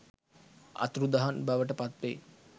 අතුරුදහන් බවට පත්වෙයි.